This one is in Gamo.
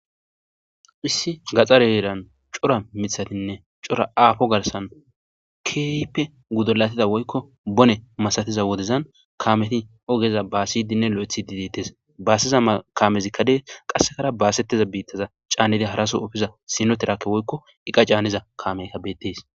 hissi gaxareeran cora mithatinne cora aafo garsan keeyipe gudolatida woykko bone masatiza wodezan kameti ogeza baasidinne lo7ethi didittes baaseza kaamezikkadee qassekara baasetteza biittaza caannedi haraso ufiza sinotirakke woykko iqa caaniza kaameyka bettes